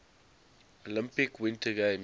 olympic winter games